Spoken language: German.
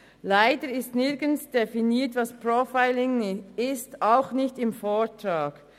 Leider wird nirgends definiert, was Profiling ist, auch nicht im Vortrag.